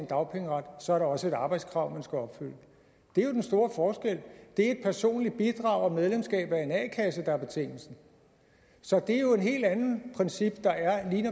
dagpengeret og så er der også et arbejdskrav man skal opfylde det er jo den store forskel det er et personligt bidrag og medlemskab af en a kasse der er betingelsen så det er jo et helt andet princip når